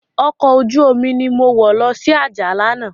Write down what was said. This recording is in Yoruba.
Òkò ójùómi ni mó wò lòsi Ajah làná